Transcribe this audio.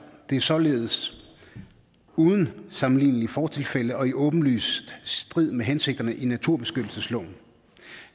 det er således uden sammenlignelige fortilfælde og åbenlyst i strid med hensigterne i naturbeskyttelsesloven